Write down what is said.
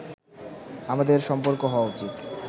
আমাদের সম্পর্ক হওয়া উচিত